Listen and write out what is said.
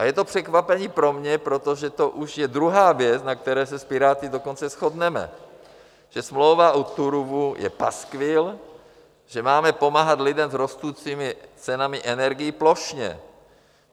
A je to překvapení pro mě, protože to už je druhá věc, na které se s Piráty dokonce shodneme, že smlouva o Turówu je paskvil, že máme pomáhat lidem s rostoucími cenami energií plošně.